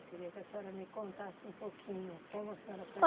Eu queria que a senhora me contasse um pouquinho como a senhora foi